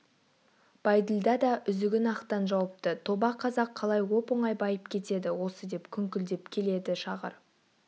байділда да үзігін ақтан жауыпты тоба қазақ қалай оп-оңай байып кетеді осы деп күңкілдеп келеді шағыр